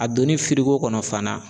A donnin kɔnɔ fana.